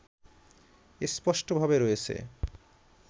স্পষ্টভাবে রয়েছে।